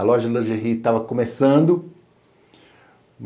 A loja de lingerie estava começando.